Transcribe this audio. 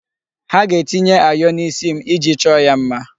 Ha ga-etinye ayọ na'isi m iji chọọ ya mma.